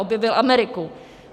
Objevil Ameriku!